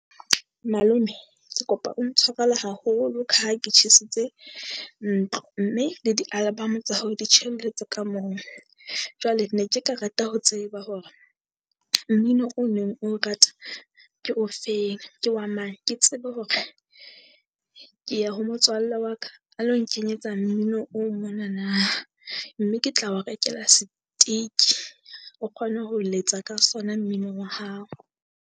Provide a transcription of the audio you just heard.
Malome Ke kopa o ntshwarele haholo ka ha ke tjhesitse ntlo, mme le di-album tsa hao di tjhelletse ka moo. Jwale ne ke ka rata ho tseba hore mmino o neng o rata ke ofeng ke wa mang, ke tsebe hore ke ya ho motswalle wa ka. A lo nkenyetsa mmino o monana, mme ke tla o rekela seteke o kgone ho letsa ka sona mmino wa hao.